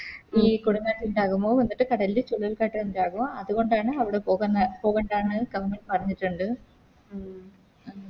ഈ കൊടുംകാറ്റ് ഇണ്ടാകുമ്പോ എന്നിട്ട് കടലില് ചുഴലിക്കാറ്റ് ഇണ്ടാകു അതുകൊണ്ടാണ് അവിടെ പോകന്ന പോകണ്ടാന്ന് Government പറഞ്ഞിട്ടിണ്ട്